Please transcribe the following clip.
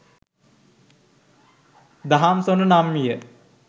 දහම්සොඬ නම් විය.